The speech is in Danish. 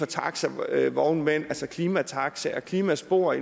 taxavognmænd altså klimataxaer og klimaspor